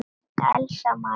Elsa María.